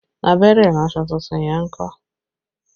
Abẹ́rẹ́ iransọ tuntun yẹn ń kọ́?